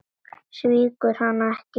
Svíktu hana ekki.